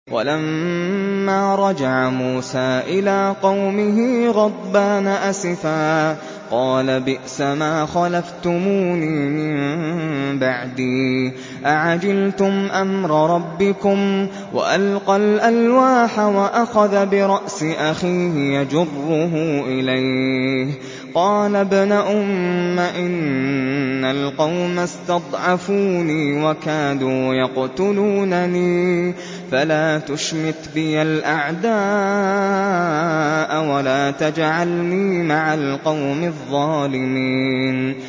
وَلَمَّا رَجَعَ مُوسَىٰ إِلَىٰ قَوْمِهِ غَضْبَانَ أَسِفًا قَالَ بِئْسَمَا خَلَفْتُمُونِي مِن بَعْدِي ۖ أَعَجِلْتُمْ أَمْرَ رَبِّكُمْ ۖ وَأَلْقَى الْأَلْوَاحَ وَأَخَذَ بِرَأْسِ أَخِيهِ يَجُرُّهُ إِلَيْهِ ۚ قَالَ ابْنَ أُمَّ إِنَّ الْقَوْمَ اسْتَضْعَفُونِي وَكَادُوا يَقْتُلُونَنِي فَلَا تُشْمِتْ بِيَ الْأَعْدَاءَ وَلَا تَجْعَلْنِي مَعَ الْقَوْمِ الظَّالِمِينَ